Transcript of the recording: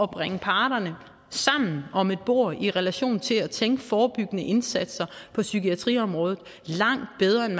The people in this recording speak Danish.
bringe parterne sammen om et bord i relation til at tænke forebyggende indsatser på psykiatriområdet langt bedre end